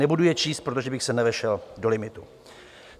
Nebudu je číst, protože bych se nevešel do limitu.